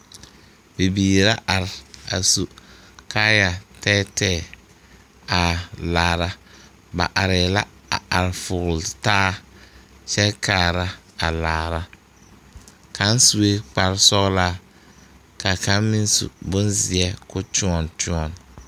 Bibiiri la are a su kaaya tɛɛtɛɛ a laara ba arɛɛ la a are fɔgle taa kyɛ kaara a laara kaŋ sue lkpare sɔglaa ka kaŋ meŋ bonzeɛ ko kyɔnkyɔn.